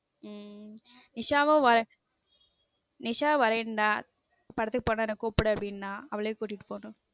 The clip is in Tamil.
உம் நிஷாவும் நிஷா வரேன்னா படத்துக்கு போனா என்ன கூப்பிடு அப்பிடினா அவளையும் கூட்டிட்டு போகணும்